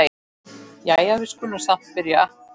Jæja, við skulum samt byrja.